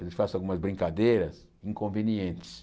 Eu lhes faço algumas brincadeiras inconvenientes.